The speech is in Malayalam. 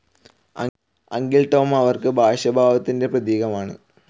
അങ്കിൾ ടോം അവർക്ക് ഭാഷ്യഭാവത്തിൻ്റെ പ്രതീകമാണ്.